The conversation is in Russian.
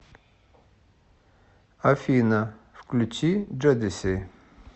афина включи джодеси